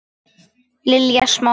Lilja Smára.